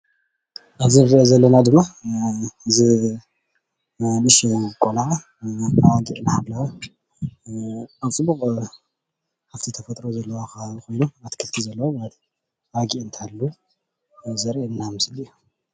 ኣብዚ እንሪኦ ዘለና ድማ እዚ ንእሽተይ ቆለዓ ኣባጊዕ እናሓለወ ኣብ ፅቡቅ ሃፍቲ ተፈጥሮ ዘለዎ ከባቢ ኮይኑ ኣትክልቲ ዘለዎ ኣባጊዕ እንትሕሉ ዘርእየና ምስሊ እዩ፡፡